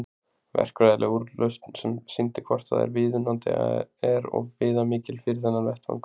Verkfræðileg úrlausn sem sýndi hvort það er viðunandi er of viðamikil fyrir þennan vettvang.